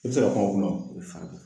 I be se ka pan o kuna wo